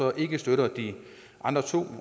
og ikke støtter de andre to